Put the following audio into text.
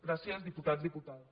gràcies diputats diputades